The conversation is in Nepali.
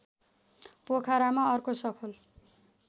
पोखरामा अर्को सफल